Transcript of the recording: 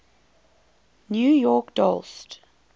new york dollst